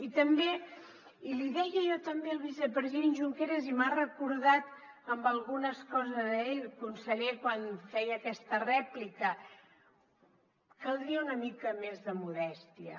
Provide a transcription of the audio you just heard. i també i l’hi deia jo també al vicepresident junqueras i m’ha recordat en algunes coses a ell conseller quan feia aquesta rèplica caldria una mica més de modèstia